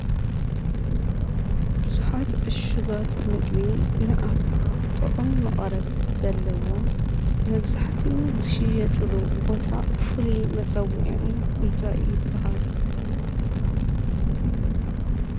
ብዙሓት ዕሹጋት ምግቢ ንኣፍካ ጥዑም መቐረት ዘለዎም መብዛሕቲኡ ዝሽየጥሉ ቦታ ፍሉይ መፀዊዑኡ እንታይ ይባሃል?